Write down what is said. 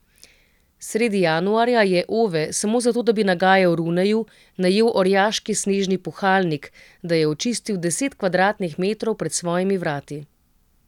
Sredi januarja je Ove, samo zato da bi nagajal Runeju, najel orjaški snežni puhalnik, da je očistil deset kvadratnih metrov pred svojimi vrati.